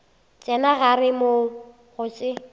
tsena gare moo go se